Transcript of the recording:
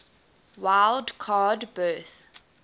wild card berth